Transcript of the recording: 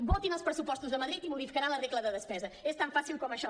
votin els pressupostos de madrid i modificaran la regla de despesa és tan fàcil com això